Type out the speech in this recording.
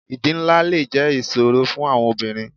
Ìdí ńlá le jẹ́ ìṣòro fún àwọn obìnrin.